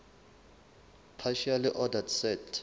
partially ordered set